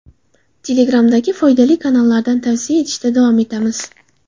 Telegram’dagi foydali kanallardan tavsiya etishda davom etamiz.